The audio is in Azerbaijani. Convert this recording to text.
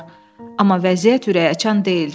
Amma vəziyyət ürəkaçan deyildi.